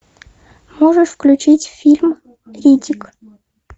можешь включить фильм риддик